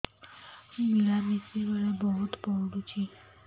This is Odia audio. ମିଳାମିଶା ବେଳେ ବହୁତ ପୁଡୁଚି